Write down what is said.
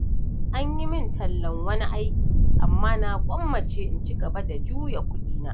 An yi min tallan wani aiki, amma na gwammace in ci gaba da juya kuɗina.